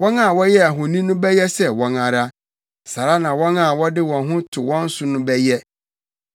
Wɔn a wɔyɛɛ ahoni no bɛyɛ sɛ wɔn ara, saa ara na wɔn a wɔde wɔn ho to wɔn so no bɛyɛ.